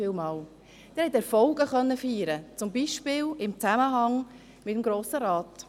Sie konnten Erfolge feiern, zum Beispiel im Zusammenhang mit dem Grossen Rat.